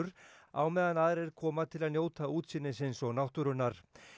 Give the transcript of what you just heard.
á meðan aðrir koma til að njóta útsýnisins og náttúrunnar